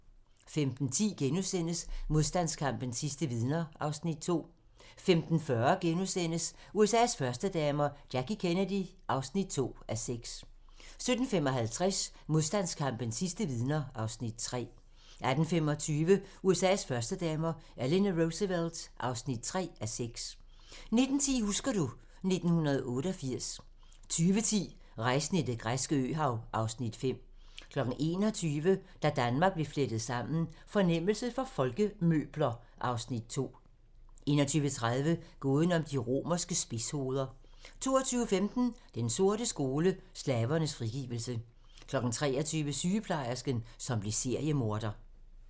15:10: Modstandskampens sidste vidner (Afs. 2)* 15:40: USA's førstedamer - Jackie Kennedy (2:6)* 17:55: Modstandskampens sidste vidner (Afs. 3) 18:25: USA's førstedamer - Eleanor Roosevelt (3:6) 19:10: Husker du ... 1988 20:10: Rejsen i det græske øhav (Afs. 5) 21:00: Da Danmark blev flettet sammen: Fornemmelse for folkemøbler (Afs. 2) 21:30: Gåden om de romerske spidshoveder 22:15: Den sorte skole: Slavernes frigivelse 23:00: Sygeplejersken, som blev seriemorder